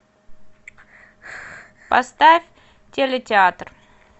поставь телетеатр